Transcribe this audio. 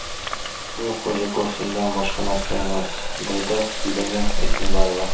Bu xo‘jako‘rsindan boshqa narsa emas”, deydi Yelena Isinbayeva.